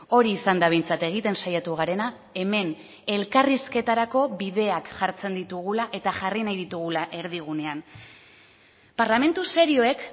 hori izan da behintzat egiten saiatu garena hemen elkarrizketarako bideak jartzen ditugula eta jarri nahi ditugula erdigunean parlamentu serioek